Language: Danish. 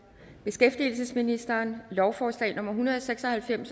beskæftigelsesministeren lovforslag nummer hundrede og seks og halvfems